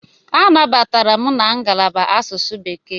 Anabatara m na ngalaba asụsụ Bekee.